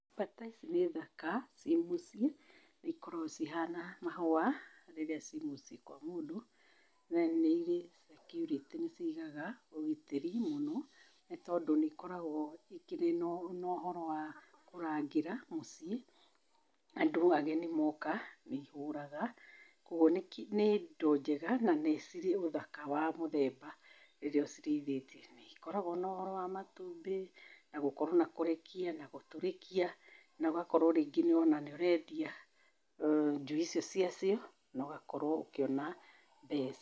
Bata ici nĩ thaka ciĩ mũciĩ, nĩ ikoragwo cihana mahũa rĩrĩa ciĩ muciĩ kwa mũndũ na nĩ irĩ security nĩ cigaga ũgitĩri mũno nĩ tondũ nĩ ikoragwo ikĩrĩ na ũhoro wa kũrangĩra mũciĩ. Andũ ageni moka nĩ ihũraga, koguo nĩ indo njega na nĩ cirĩ ũthaka wa mũthemba rĩrĩa ũcirĩithĩtie. Na nĩ ikoragwo na ũhoro wa matumbĩ na gũkorwo na kũrekia na gũtũrĩkia na ugakorwo rĩngĩ ona nĩ ũrendia njui icio ciacio, na ũgakorwo ũkĩona mbeca.